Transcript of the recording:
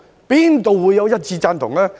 哪會有一致贊同？